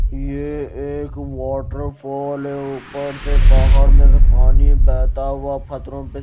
ये एक वाटरफॉल है ऊपर से पहाड़ में से पानी बहता हुआ फतरों पे--